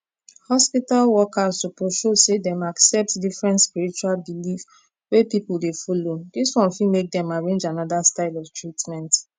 hospital workers suppose show say dem accept different spiritual belief wey people dey follow this one fit make dem arrange another style of treatment